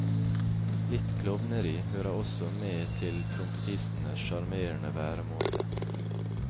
Litt klovneri hører også med til trompetistens sjarmerende væremåte.